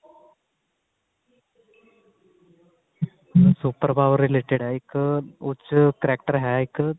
super power related ਹੈ ਇੱਕ ਉਸ ਚ character ਹੈ ਇੱਕ